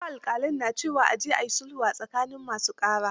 Wasu alƙalan na cewa; a je a yi sulhu a tsakanin masu ƙara.